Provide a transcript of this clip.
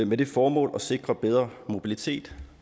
med det formål at sikre bedre mobilitet